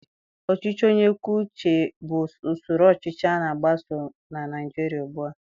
Ọchịchị onye kwuo uche bụ usoro ọchịchị a na-agbaso na Naịjirịa ugbua.